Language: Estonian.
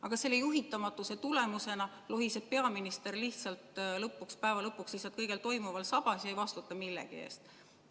Aga selle juhitamatuse tulemusena lohiseb peaminister päeva lõpuks lihtsalt kõigel toimuval sabas ega vastuta millegi eest.